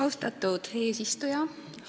Austatud eesistuja!